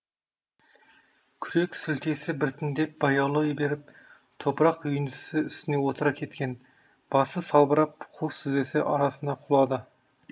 күрек сілтесі біртіндеп баяулай беріп топырақ үйіндісі үстіне отыра кеткен басы салбырап қос тізесі арасына құлады